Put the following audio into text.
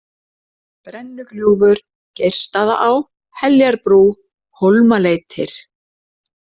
Brennugljúfur, Geirsstaðaá, Heljarbrú, Hólmaleitir